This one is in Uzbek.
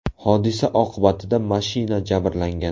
Hodisa oqibatida mashina jabrlangan.